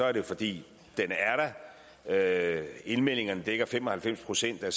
er det fordi den er der indmeldingerne dækker fem og halvfems procent af